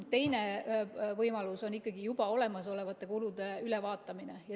Teine võimalus on juba olemasolevate kulude ülevaatamine.